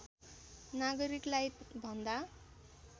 नागरिकलाई भन्दा